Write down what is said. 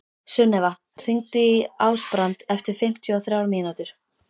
Sunnefa, hringdu í Ásbrand eftir fimmtíu og þrjár mínútur.